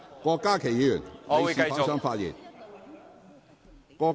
郭家麒議員，請繼續發言。